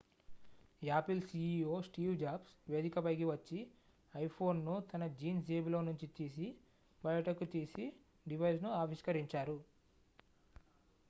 Apple CEO Steve Jobs వేదికపైకి వచ్చి iPhone ను తన జీన్స్ జేబులో నుంచి తీసి బయటకు తీసి డివైస్ ను ఆవిష్కరించారు